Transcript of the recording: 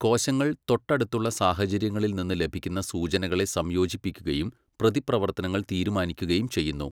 കോശങ്ങൾ തൊട്ടടുത്തുള്ള സാഹചര്യങ്ങളിൽനിന്ന് ലഭിക്കുന്ന സൂചനകളെ സംയോജിപ്പിക്കുകയും പ്രതിപ്രവർത്തനങ്ങൾ തീരുമാനിക്കുകയും ചെയ്യുന്നു.